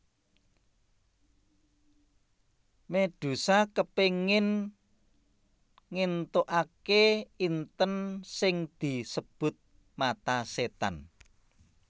Medusa kepingin ngentukake inten sing disebut mata setan